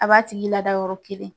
A b'a tigi lada yɔrɔ kelen.